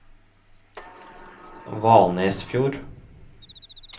Valnesfjord